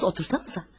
Otursanızə.